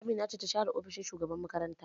Amina ce ta share ofishin shugaban makaranta